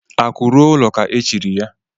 Akụ ru o ụlọ ka e chiri ya